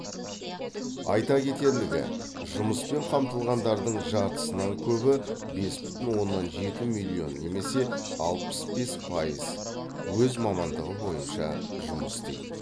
айта кетерлігі жұмыспен қамтылғандардың жартысынан көбі бес бүтін оннан жеті миллион немесе алпыс бес пайыз өз мамандығы бойынша жұмыс істейді